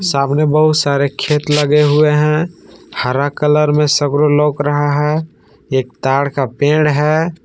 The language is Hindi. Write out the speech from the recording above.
तामने बहुत सारे खेत लगे हुए है हरा कलर में सब्रू लोक रहा है एक ताड़ का पेड़ है।